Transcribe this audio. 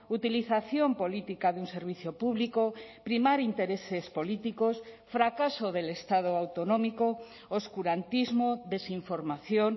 utilización política de un servicio público primar intereses políticos fracaso del estado autonómico oscurantismo desinformación